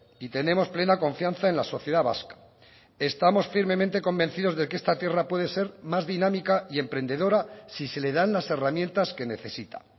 y tenemos plena confianza en la sociedad vasca estamos firmemente convencidos de que esta tierra puede ser más dinámica y emprendedora si se le dan las herramientas que necesita